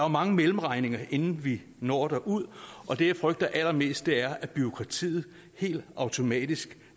mange mellemregninger inden vi når derud og det jeg frygter allermest er at bureaukratiet helt automatisk